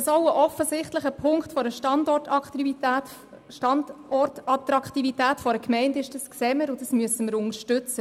Dass es auch ein offensichtlicher Punkt für die Standortattraktivität einer Gemeinde ist, sehen wir, und dies müssen wir unterstützen.